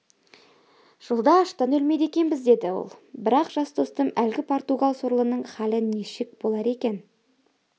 жолда аштан өлмейді екенбіз деді ол бірақ жас достым әлгі португал сорлының халі нешік болар екен